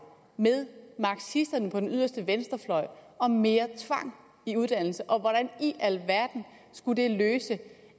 med marxisterne på den yderste venstrefløj om mere tvang i uddannelse og hvordan i alverden skulle det løse